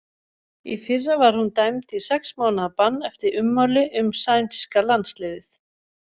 Í fyrra var hún dæmd í sex mánaða bann eftir ummæli um sænska landsliðið.